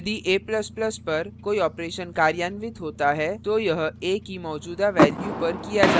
यदि a ++ पर कोई operation कार्यान्वित होता है तो यह a की मौजूदा value पर किया जाता है